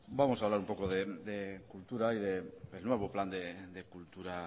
vamos a hablar un poco de cultura y del nuevo plan de cultura